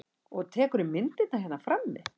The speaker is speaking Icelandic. Og tekurðu myndirnar hérna frammi?